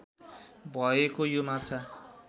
भएको यो माछा